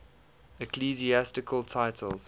ecclesiastical titles